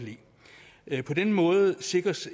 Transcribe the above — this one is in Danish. lide på den måde sikres